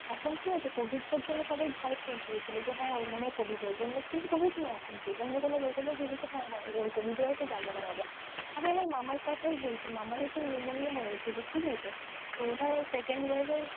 এখন কি হয়েছে covid টার জন্য সবাই ভয় পেয়ে গিয়েছিলো যে হ্যাঁ ওর মনে হয় covid হয়েছে অন্য কিন্তু covid না কিন্তু অন্য কোনো রোগ হলেও ভেবেছে হ্যাঁ ওর covid হয়েছে যাবো না বাবা আমি আমার মামার কোথাই বলছি মানে সেই pneumonia হয়েছিল তো ওটা second wave এর,